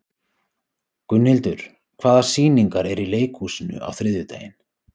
Gunnhildur, hvaða sýningar eru í leikhúsinu á þriðjudaginn?